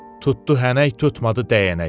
Tutdu hənək, tutmadı dəyənək.